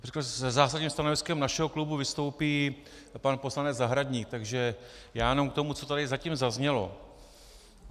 Se zásadním stanoviskem našeho klubu vystoupí pan poslanec Zahradník, takže já jenom k tomu, co tady zatím zaznělo.